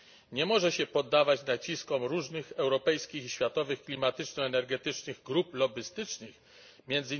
Nie może się poddawać naciskom różnych europejskich i światowych klimatyczno energetycznych grup lobbystycznych, m.